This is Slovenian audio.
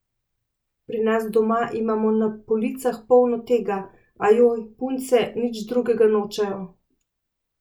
Pri nas doma imamo na policah polno tega, ajoj, punce nič drugega nočejo.